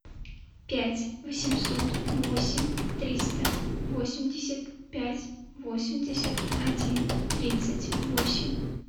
пять восемьсот восемь триста восемьдесят пять восемьдесят один тридцать восемь